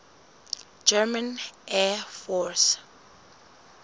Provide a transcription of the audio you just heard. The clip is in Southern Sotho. german air force